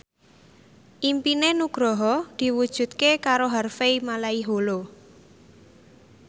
impine Nugroho diwujudke karo Harvey Malaiholo